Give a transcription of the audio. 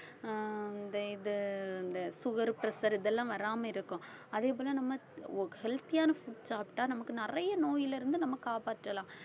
அஹ் இந்த இது இந்த sugar, pressure இதெல்லாம் வராம இருக்கும் அதே போல நம்ம ஒ~ healthy யான food சாப்பிட்டா நமக்கு நிறைய நோயிலிருந்து நம்ம காப்பாற்றலாம்